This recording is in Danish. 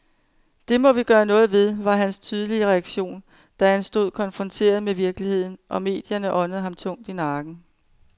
Det må vi gøre noget ved, var hans tydelige reaktion, da han stod konfronteret med virkeligheden, og medierne åndede ham tungt i nakken.